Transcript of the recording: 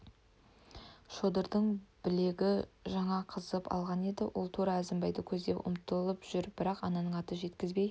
шодырдың білегі жаңа қызып алған еді ол тура әзімбайды көздеп ұмтылып жүр бірақ ананың аты жеткізбей